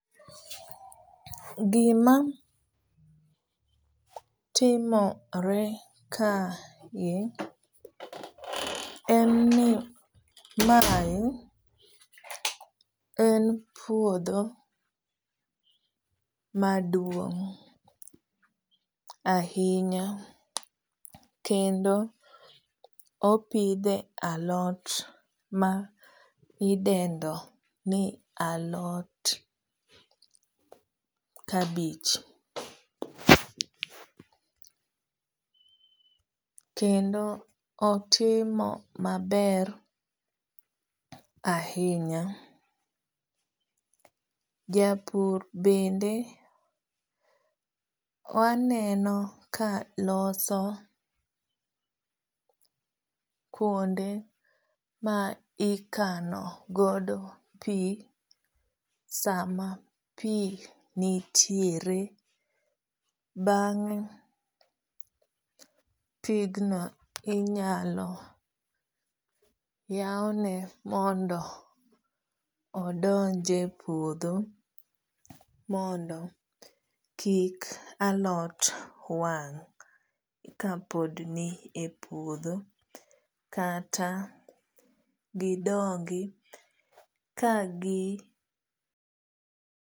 Gimatimore kae en ni mae en puodho maduong ahinya kendo opidhe a lot maidendo ni alot kabich kendo otimo maber ahinya japur bende aneno ka loso kuonde ma ikano godo pii sama pii nitiere , bange pigno inyalo yawne mondo odonje puodho mondo kik alot wang kapod ni e puodho kata gidongo ka gi